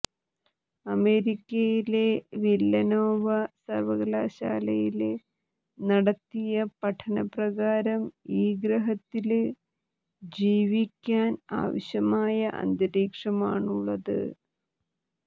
അമേരിക്കയിലെ വില്ലനോവ സര്വ്വകലാശാലയില് നടത്തിയ പഠന പ്രകാരം ഈ ഗ്രഹത്തില് ജീവിക്കാന് ആവശ്യമായ അന്തരീക്ഷമാണുളളത്